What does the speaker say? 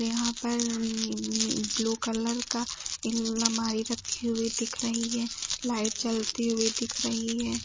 यहां पर नी नी ब्लू कलर का इलमारी रखी हुई दिख रही है। लाइट जलती हुई दिख रही है।